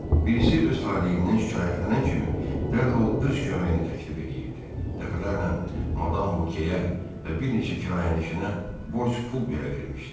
Birisi öz taleyindən şikayətlənən kimi dərhal öz köməyini təklif eləyirdi, dəfələrlə madam Vokeyə və bir neçə kirayənişinə borc pul belə vermişdi.